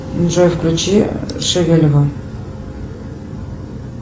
джой включи шевелева